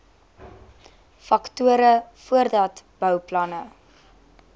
faktore voordat bouplanne